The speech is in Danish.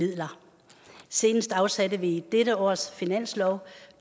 midler senest afsatte vi i dette års finanslov